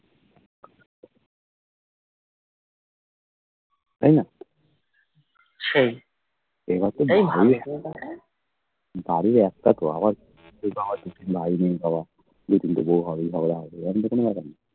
তাইনা বাড়ি একটা তো আবার দুই তিনটে বউ হবে আবার